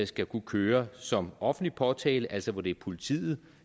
skal kunne køre som offentlig påtale altså hvor det er politiet